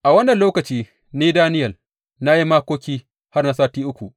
A wannan lokaci ni Daniyel na yi makoki har na sati uku.